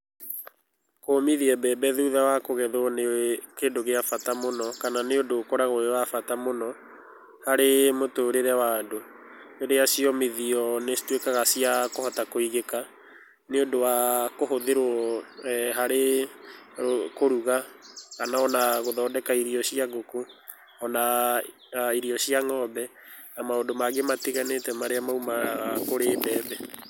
Kũmithia mbembe thutha wa kũgethwo nĩ kĩndũ gĩa bata mũno, kana nĩ ũndũ ũkoragwo wĩ wa bata mũno harĩ mũtũrĩre wa andũ. Rĩrĩa ciomithio nĩcituĩkaga cia kũhota kũigĩka nĩũndũ wa kũhũthĩrwo harĩ kũruga, kana ona gũthondeka irio cia ngũkũ, ona irio cia ng'ombe ona kana maũndũ mangĩ matiganĩte maria maumaga kũrĩ mbembe.